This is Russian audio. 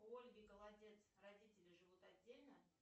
у ольги голодец родители живут отдельно